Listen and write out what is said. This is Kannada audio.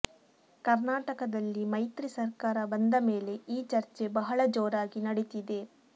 ಕರ್ನಾಟಕದಲ್ಲಿ ಮೈತ್ರಿ ಸರ್ಕಾರ ಬಂದ ಮೇಲೆ ಈ ಚರ್ಚೆ ಬಹಳ ಜೋರಾಗಿ ನಡಿತಿದೆ